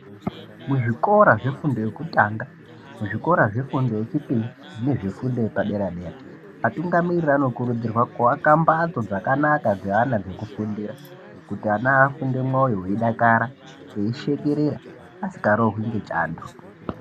Muzvikora zvefundo yekutanga muzvikora zvefundo yechipiri nezvefundo yepadera-dera. Atungamiriri anokurudzirwa kuaka mbatso dzakanaka dzeana dzekufundira. Kuti ana afunde mwoyo veidakara eishekerera asikarohwi ngechando.